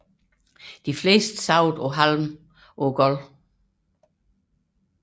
De fleste sov på halm på gulvene